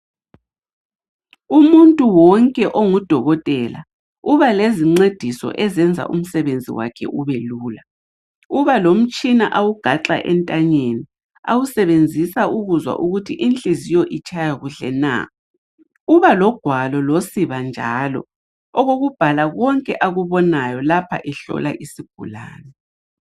Umuntu wonke onguDokotela uba lezincediso ezenza umsebenzi wakhe ubelula. Ubalomtshina awugaxa entanyeni awusebenzisa ukuzwa ukuthi inhliziyo itshaya kuhle na. Ubalogwalo losiba njalo okokubhala konke akubonayo lapha ehlola isigulane.